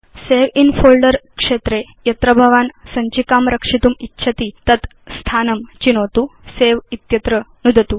save in folder क्षेत्रे यत्र भवान् सञ्चिकां रक्षितुम् इच्छति तत् स्थानं चिनोतु सवे इत्यत्र नुदतु